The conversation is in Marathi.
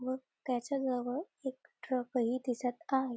व त्याच्या जवळ एक ट्रक हि दिसत आहे.